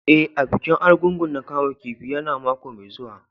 E,bikin Argungu na kaman kifi ya na mako mai zuwa.